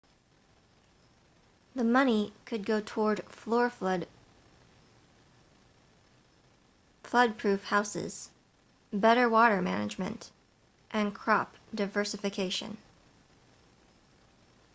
the money could go toward flood-proof houses better water management and crop diversification